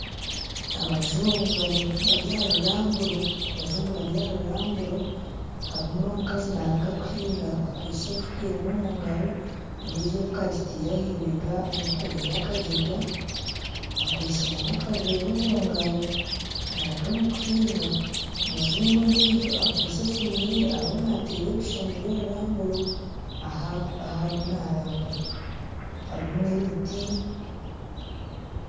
Abajungu bari aha ruramburo harimu n'omukazi naruga kuhiinga akwitse efuuka emwe omugaro endiijo agitaire ahibenga, ayekoraire akagyega akwitse n'akaveera omugaro , omujungu ondiijo akwitse esiimu ye ariyo naateera ebishushani by'oruramburo ahu arimu naatambura harimu n'emiti